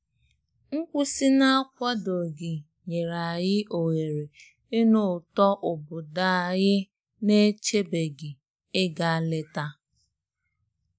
Nkwụsị na-akwadoghị nyere anyị ohere ịnụ ụtọ obodo anyị na-echebeghị ịga leta.